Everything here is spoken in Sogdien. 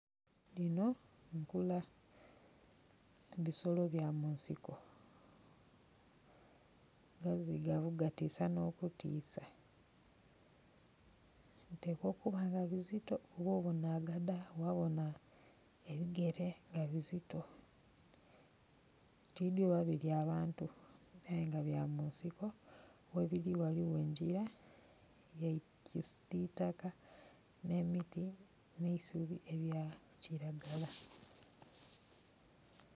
Dhino mpula bisolo bya munsiko gazizigavu gatisa no kutisa bitekwa okuba bizito kuba obona agada wa bona ebigere nga bizito. Tidhi oba bilya abantu ayenga bya munsiko, ghebiri waliwo enjila ya kisitaka n'emiti n'eisubi ebya kiragala